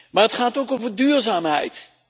Maar het gaat ook over duurzaamheid.